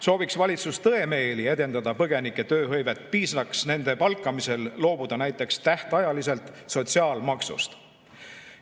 Sooviks valitsus tõemeeli edendada põgenike tööhõivet, piisaks nende palkamisel loobuda näiteks tähtajaliselt sotsiaalmaksust.